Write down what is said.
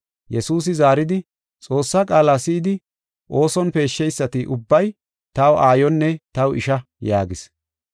Yesuusi zaaridi, “Xoossa qaala si7idi ooson peesheysati ubbay, taw aayonne taw isha” yaagis.